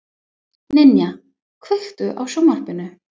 Ninja, kveiktu á sjónvarpinu.